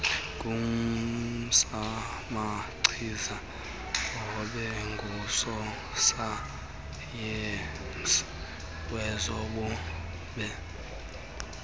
ngusomachiza abengusosayensi wezobume